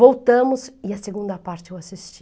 Voltamos e a segunda parte eu assisti.